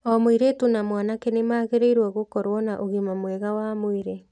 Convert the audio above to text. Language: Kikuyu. O mũirĩtu na mwanake nĩ magĩrĩirũo gũkorũo na ũgima mwega wa mwĩrĩ.